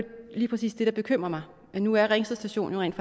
lige præcis det der bekymrer mig nu er ringsted station jo rent